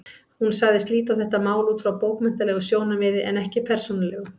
Hún sagðist líta á þetta mál út frá bókmenntalegu sjónarmiði en ekki persónulegu.